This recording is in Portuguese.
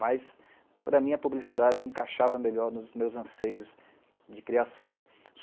Mas, para mim, a publicidade encaixava melhor nos meus anseios de criação.